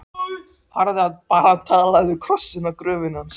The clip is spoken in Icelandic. Farðu bara og talaðu við krossinn á gröfinni hans.